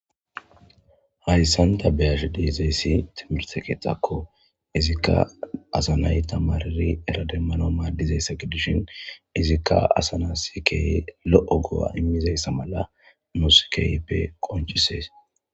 hayssanta beyash deezayssi timirtekexakko izikka asanay tamariri erademmano maaddizayssa gidishin izikka asana sikey lo7o go7a immizayssa mala muosikeyppe qonchisees